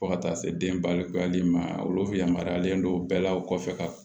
Fo ka taa se den balokoli ma olu yamaruyalen don bɛɛ la u kɔfɛ ka